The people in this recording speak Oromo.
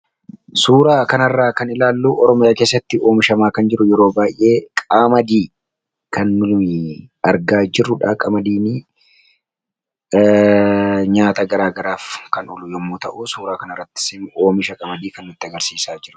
suuraa kanarraa kan ilaallu ormaya keessatti oomishamaa kan jiru yeroo baay'ee qaamadii kann argaa jirrudha qamadiini nyaata garaagaraaf kan olu yommuu ta'u suuraa kan arratti oomisha qaamadii kan nutti agarsiisaa jiru